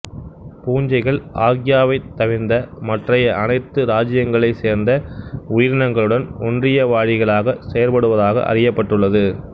பூஞ்சைகள் ஆர்க்கியாவைத் தவிர்ந்த மற்றைய அனைத்து இராச்சியங்களைச் சேர்ந்த உயிரினங்களுடனும் ஒன்றியவாழிகளாகச் செயற்படுவதாக அறியப்பட்டுள்ளது